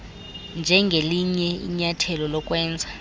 njengelinye inyathelo lokwenza